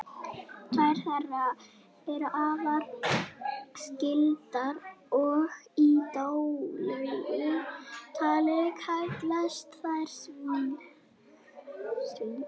tvær þeirra eru afar skyldar og í daglegu tali kallast þær svín